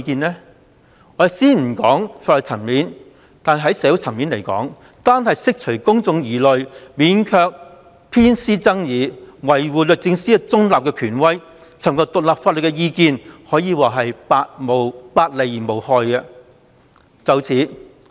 在社會層面而言，單單為了釋除公眾疑慮，免卻偏私爭議，維護律政司中立的權威，尋求獨立法律意見可謂百利而無一害。